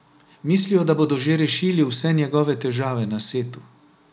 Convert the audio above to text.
Mislijo, da bodo že rešili vse njegove težave na setu.